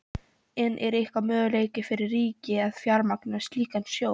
En er einhver möguleiki fyrir ríkið að fjármagna slíkan sjóð?